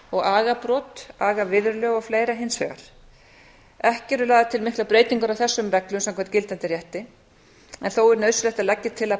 og agabrot agaviðurlög og fleiri hins vegar ekki eru lagðar til miklar breytingar á þessum reglum samkvæmt gildandi rétti en þó er nauðsynlegt að leggja til að